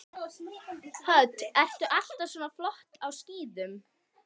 Hödd: Ertu alltaf svona flottur á skíðum?